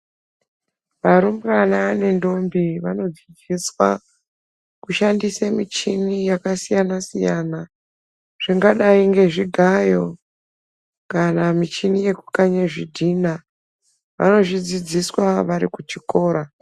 Varumbwana nendombi vanodzidziswa kushandisa muchini yakasiyana siyana zvingadai nezvigayo kana muchini yekukanya zvidhina vanozvidzidziswa vari kuchikora.